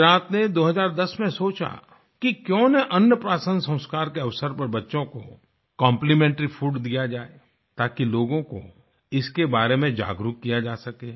गुजरात ने 2010 में सोचा कि क्यूँ न अन्न प्राशन संस्कार के अवसर पर बच्चों को कॉम्प्लीमेंट्री फूड दिया जाये ताकि लोगों को इसके बारे में जागरुक किया जा सके